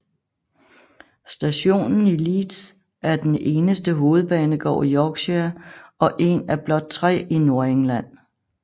Stationen i Leeds er den eneste hovedbanegård i Yorkshire og en af blot tre i Nordengland